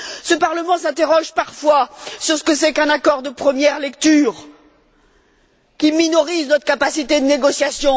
Ce Parlement s'interroge parfois sur ce qu'est un accord de première lecture qui minorise notre capacité de négociation.